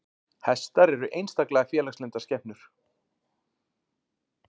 Hestar eru einstaklega félagslyndar skepnur.